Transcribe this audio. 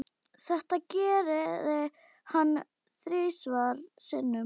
Þetta gerði hann þrisvar sinnum.